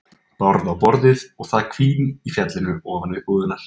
Bárð á borðið og það hvín í fjallinu ofan við búðirnar.